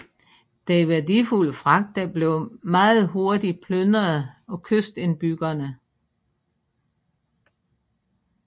Den værdifulde fragt blev meget hurtig plyndret af kystindbyggerne